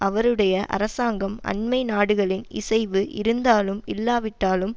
அவருடைய அரசாங்கம் அண்மை நாடுகளின் இசைவு இருந்தாலும் இல்லாவிட்டாலும்